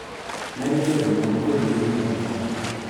Medo keto mon kod nyiri oko